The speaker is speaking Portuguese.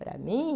Para mim...